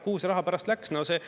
Kuhu see raha pärast läks?